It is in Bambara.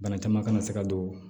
Bana caman kana se ka don